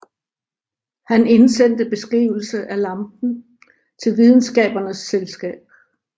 Han indsendte beskrivelse af lampen til Videnskabernes Selskab